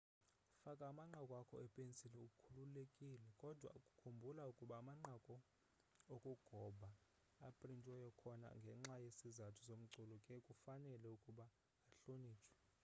faka amanqaku akho ipensili ukhululekile kodwa khumbula ukuba amanqaku okugoba aprintiweyo akhona ngenxa yesizathu somculo ke kufanele ukuba ahlonitshwe